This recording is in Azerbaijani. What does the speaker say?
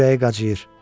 Kürəyi qacıyır.